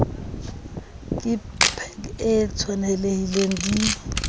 ke pac e tshwanelehileng di